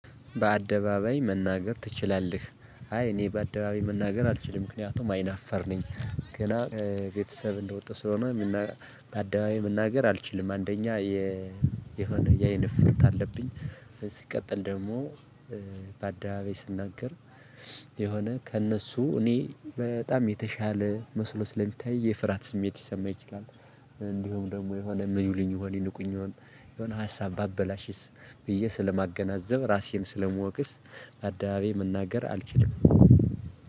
በአደባባይ መናገር ትችላለህ? አይ እኔ በአደባባይ መናገር አልችልም ምክንያቱም አይናፈርነኚ ገና ቤተሰብ እንደወጣሁ ስለሆነ። በአደባባይ መናገር አልችልም አንደኛ የ የሆነ ያይን እፍርት አለብኝ። ሲቀጥል ደግሞ በአደባባይ ስናገር የሆነ ከእነሱ እኔ በጣም የተሻለ መስሎ ስለሚታይ የፍርሃት ስሜት ይሰማኛል። ይችላል እንዲሁም ደግሞ የሆነ ምን ይሉኝ ይሆን ይንቁኝ ይሆን? የሆነ ሀሳብ ባበላሽስ ብዬ ስለማገናዘብ ራሴን ስለመወቅስ። ባደባባይ መናገር አልችልም።